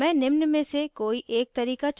मैं निम्न में से कोई एक तरीका चुनूँगी;